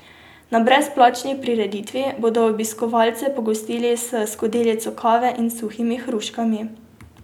Na brezplačni prireditvi bodo obiskovalce pogostili s skodelico kave in suhimi hruškami.